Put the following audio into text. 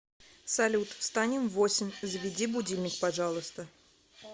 салют встанем в восемь заведи будильник пожалуйста